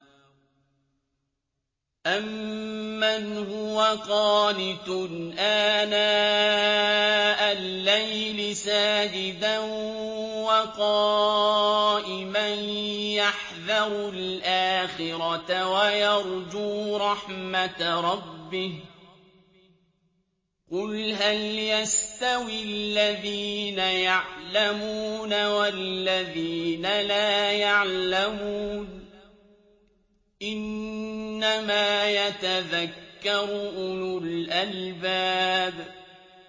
أَمَّنْ هُوَ قَانِتٌ آنَاءَ اللَّيْلِ سَاجِدًا وَقَائِمًا يَحْذَرُ الْآخِرَةَ وَيَرْجُو رَحْمَةَ رَبِّهِ ۗ قُلْ هَلْ يَسْتَوِي الَّذِينَ يَعْلَمُونَ وَالَّذِينَ لَا يَعْلَمُونَ ۗ إِنَّمَا يَتَذَكَّرُ أُولُو الْأَلْبَابِ